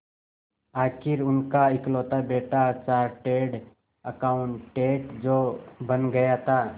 आखिर उनका इकलौता बेटा चार्टेड अकाउंटेंट जो बन गया था